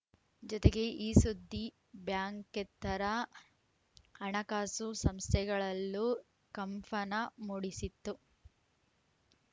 ಜೊತೆಗೆ ಈ ಸುದ್ದಿ ಬ್ಯಾಂಕೇತ್ತರ ಹಣಕಾಸು ಸಂಸ್ಥೆಗಳಲ್ಲೂ ಕಂಫನ ಮೂಡಿಸಿತ್ತು